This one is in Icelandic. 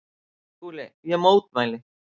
SKÚLI: Ég mótmæli!